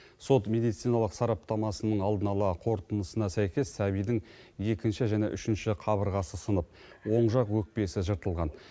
сот медициналық сараптамасының алдын ала қорытындысына сәйкес сәбидің екінші және үшінші қабырғасы сынып оң жақ өкпесі жыртылған